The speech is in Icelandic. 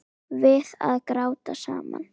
Við að gráta saman.